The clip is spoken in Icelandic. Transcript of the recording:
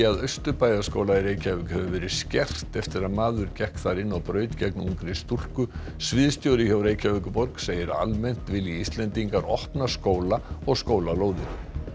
að Austurbæjarskóla hefur verið skert eftir að maður gekk þar inn og braut gegn ungri stúlku sviðsstjóri hjá Reykjavíkurborg segir að almennt vilji Íslendingar opna skóla og skólalóðir